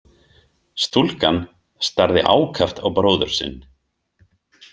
Stúlkan starði ákaft á bróður sinn.